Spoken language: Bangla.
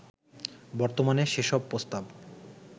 বর্তমানে সেসব প্রস্তাব